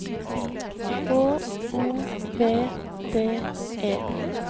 H O V D E